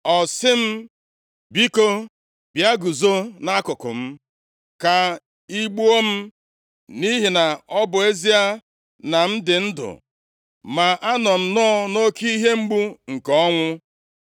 “Ọ sị m, ‘Biko, bịa guzo nʼakụkụ m ka ị gbuo m, nʼihi na ọ bụ ezie na m dị ndụ, ma anọ m nnọọ nʼoke ihe mgbu nke ọnwụ.’